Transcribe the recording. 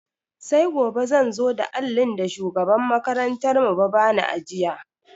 Sai gobe zan zo da allin da shugaban makarantar mu ba bani in ajiye.